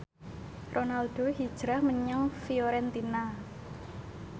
Ronaldo hijrah menyang Fiorentina